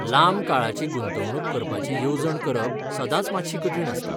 लांब काळाची गुंतवणूक करपाची येवजण करप सदांच मात्शी कठीण आसता.